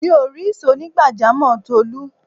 Mi ò rí ìsò onigbajamo Tolu